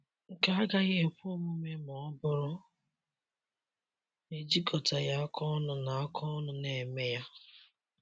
Nke a agaghị ekwe omume ma ọ bụrụ na e jikọtaghị aka ọnụ na aka ọnụ na - eme ya.